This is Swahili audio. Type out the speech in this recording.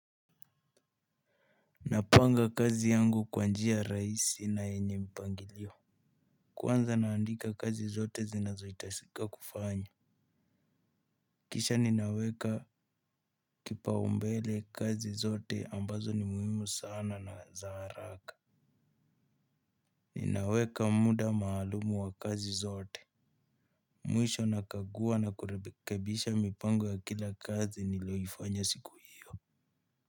Napanga kazi yangu kwa njia raisi na yenye mpangilio. Kwanza naandika kazi zote zinazoitasika kufanywa. Kisha ninaweka kipaumbele kazi zote ambazo ni muhimu sana na za haraka. Ninaweka muda maalumu wa kazi zote. Mwisho nakagua na kurekebisha mipango ya kila kazi nilioifanya siku hio.